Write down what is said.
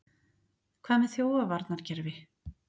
Hvað með þjófavarnarkerfi?